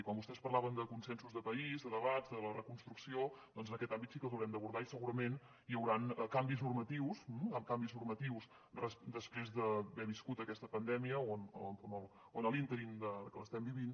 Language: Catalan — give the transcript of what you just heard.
i quan vostès parlaven de consensos de país de debats de la reconstrucció doncs en aquest àmbit sí que els haurem d’abordar i segurament hi hauran canvis normatius canvis normatius després d’haver viscut aquesta pandèmia on a l’ínterim que l’estem vivint